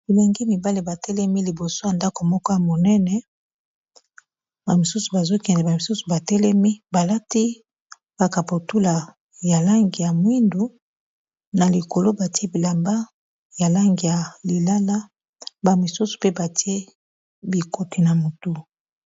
bilengi mibale batelemi liboso ya ndako moko ya monene bamisusu bazokende bamisusu batelemi balati bakaputula ya langi ya mwindu na likolo batie bilamba ya langi ya lilala bamisusu pe batie bikoti na motu